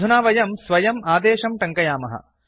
अधुना वयं स्वयम् आदेशं टङ्कयामः